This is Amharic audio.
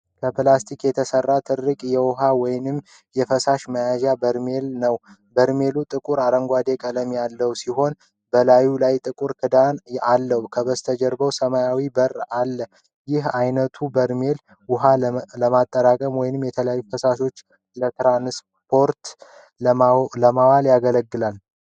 ከፕላስቲክ የተሰራ ትልቅ የውሃ ወይም የፈሳሽ መያዣ በርሜል ነው። በርሜሉ ጥቁር አረንጓዴ ቀለም ያለው ሲሆን፣ በላዩ ላይ ጥቁር ክዳን አለው። ከበስተጀርባው ሰማያዊ በር አለ። ይህ ዓይነቱ በርሜል ውሃ ለማጠራቀም ወይም የተለያዩ ፈሳሾችን ለትራንስፖርት ለማዋል ያገለግላል።